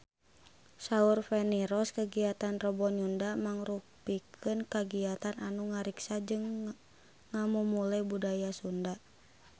Saur Feni Rose kagiatan Rebo Nyunda mangrupikeun kagiatan anu ngariksa jeung ngamumule budaya Sunda